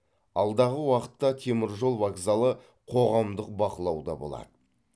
алдағы уақытта теміржол вокзалы қоғамдық бақылауда болады